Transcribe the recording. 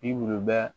Bi wure